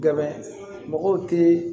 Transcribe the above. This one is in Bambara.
Dɛmɛ mɔgɔw te